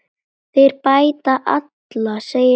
Þeir bæta alla, segir hann.